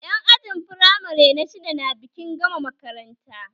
Yan ajin firamare na shidda na bikin gama makaranta